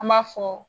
An b'a fɔ